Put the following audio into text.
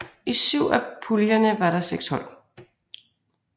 I syv af puljerne var der seks hold